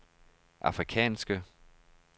afrikanske